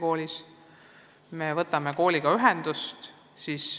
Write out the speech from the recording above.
Siis me võtame kooliga ühendust.